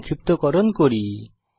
সংক্ষিপ্তকরণ করি